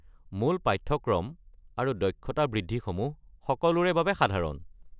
মূল পাঠ্যক্ৰম আৰু দক্ষতা বৃদ্ধিসমূহ সকলোৰে বাবে সাধাৰণ।